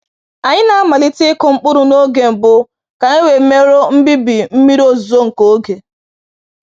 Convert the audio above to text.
Anyị na-amalite ịkụ mkpụrụ n’oge mbụ ka anyị wee merụọ mbibi mmiri ozuzo nke oge